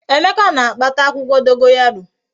Emeka na-akpata akwukwo dogoyaro